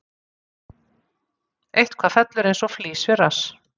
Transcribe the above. Eitthvað fellur eins og flís við rass